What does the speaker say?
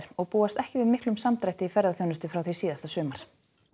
og búast ekki við miklum samdrætti í ferðaþjónustu frá því síðasta sumar